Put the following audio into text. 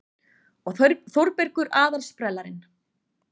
Og Þórbergur aðal-sprellarinn.